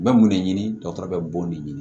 N bɛ mun de ɲini dɔgɔtɔrɔ bɛ b'o de ɲini